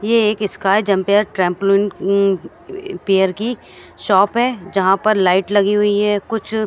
ये एक sky jumper trampoline um पेयर की शॉप है जहां पर लाइट लगी हुई है कुछ--